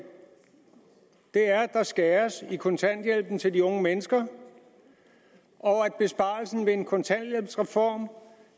er at der skæres ned i kontanthjælpen til de unge mennesker og at besparelsen ved en kontanthjælpsreform